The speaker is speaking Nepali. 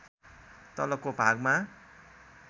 तलको भागमा